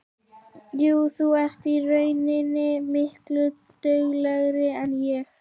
Jú, þú ert í rauninni miklu duglegri en ég.